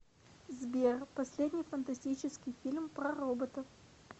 сбер последний фантастический фильм про роботов